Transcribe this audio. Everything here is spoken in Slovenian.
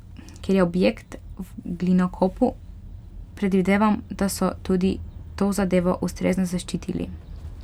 Ker je objekt v glinokopu, predvidevam, da so tudi to zadevo ustrezno zaščitili.